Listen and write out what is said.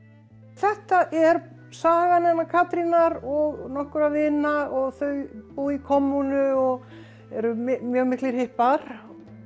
þetta er sagan hennar Katrínar og nokkurra vina og þau búa í kommúnu og eru mjög miklir hippar